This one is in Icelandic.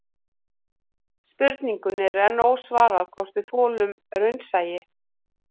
Spurningunni er enn ósvarað hvort við þolum raunsæi